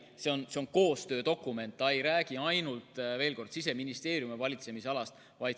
See on koostöödokument, see ei räägi ainult Siseministeeriumi valitsemisalast.